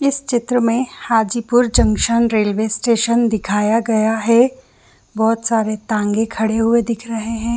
इस चित्र में हाजीपुरजंक्शन रेलवे स्टेशन दिखाया गया है बहुत सारे टांगा खड़े हुए दिख रहे हैं।